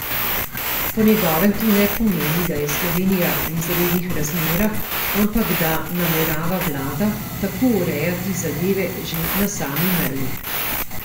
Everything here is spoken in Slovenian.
Po njegovem to ne pomeni, da je Slovenija v izrednih razmerah, ampak da namerava vlada tako urejati zadeve že na sami meji.